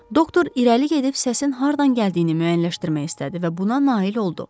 Doktor irəli gedib səsin hardan gəldiyini müəyyənləşdirmək istədi və buna nail oldu.